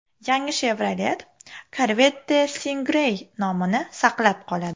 Yangi Chevrolet Corvette Stingray nomini saqlab qoladi.